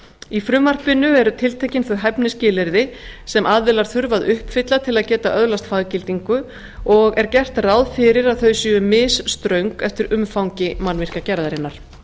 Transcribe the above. í frumvarpinu eru tiltekin þau hæfnisskilyrði sem aðilar þurfa að uppfylla til að geta öðlast faggildingu og er gert ráð fyrir þau sé misströng eftir umfangi mannvirkjagerðarinnar